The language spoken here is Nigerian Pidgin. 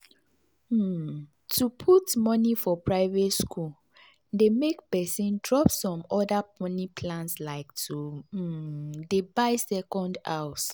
um to put money for private school dey make person drop some other money plans like to um dey buy second house.